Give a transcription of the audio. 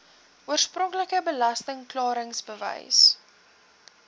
oorspronklike belasting klaringsbewys